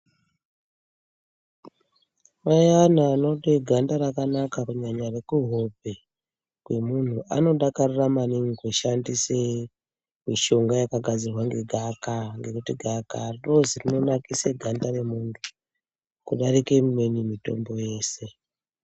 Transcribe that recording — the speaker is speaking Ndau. Ayana anode ganda rakanaka kunyanya rekuhope kwemuntu anodakarira maningi kushandise mishonga yakagadzirwe ngegaakaa. Ngekuti gaakaa rinozi rinonasire ganda remuntu kudarike imweni mitombo yeshe.